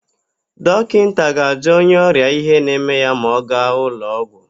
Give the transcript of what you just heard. Dọkịnta ga-ajụ onye ọrịa ihe na-eme ya ma ọ gaa ụlọụgwọ.